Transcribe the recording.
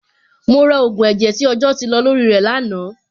Mo ra ògùn ẹ̀jẹ̀ tí ọjọ́ ti lọ lórí ẹ̀ lánàá.